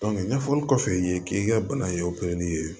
ɲɛfɔli kɔfɛ i ye k'i ka bana ye opereli ye